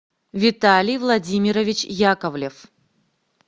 виталий владимирович яковлев